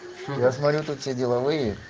я смотрю тут все деловые